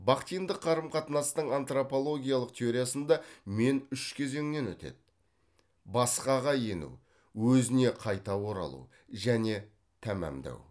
бахтиндік қарым қатынастың антропологиялық теориясында мен үш кезеңнен өтеді басқаға ену өзіне қайта оралу және тамамдау